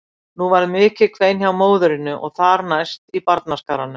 Nú varð mikið kvein hjá móðurinni og þar næst í barnaskaranum.